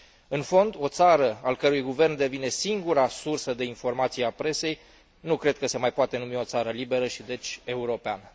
În fond, o țară al cărei guvern devine singura sursă de informație a presei, nu cred că se mai poate numi o țară liberă și deci, europeană.